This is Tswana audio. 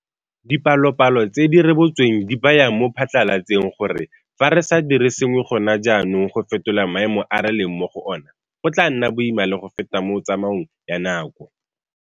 Dipalopalo tse di rebotsweng di baya mo phatlalatseng gore fa re sa dire sengwe gona jaanong go fetola maemo a re leng mo go ona, go tla nna boima le go feta mo tsamaong ya nako.